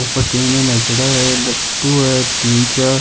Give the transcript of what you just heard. ऊपर लट्टू है तीन चार।